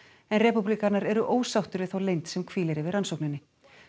en repúblikanar eru ósáttir við þá leynd sem hvílir yfir rannsókninni